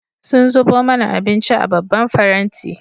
Sun zubo mana abinci a babban faranti.